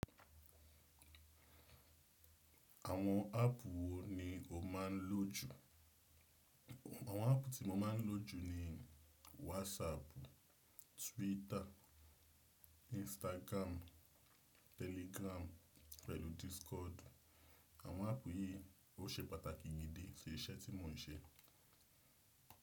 Àwọn áápù wo ni o máà ń lò jù? Àwọn áápù tí mo máa ń lò jù ni WhatsApp, Twitter, Instagram, Telegram pẹ̀lú Discord. Àwọn áápù yìí ó ṣe pàtàkì gidi sí iṣẹ́ tí mo ń ṣe.